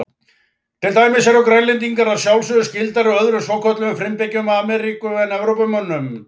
Til dæmis eru Grænlendingar að sjálfsögðu skyldari öðrum svokölluðum frumbyggjum Ameríku en Evrópumönnum.